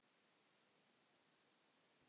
Kemur ekki upp orði.